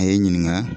A ye n ɲininka